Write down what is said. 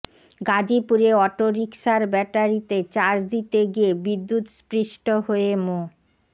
গাজীপুরে অটোরিকশার ব্যাটারিতে চার্জ দিতে গিয়ে বিদ্যুৎস্পৃষ্ট হয়ে মো